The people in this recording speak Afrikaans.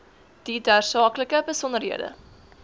die tersaaklike besonderhede